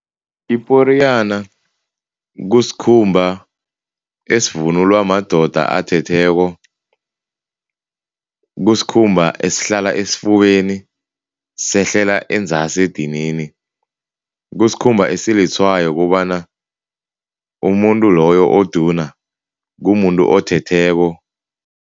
Iporiyana kusikhumba esivunulwa madoda athetheko. Kusikhumba esihlala esifubeni, sehlela enzasi edinini. Kusikhumba esilitshwayo kobana umuntu loyo uduna, kumuntu othetheko.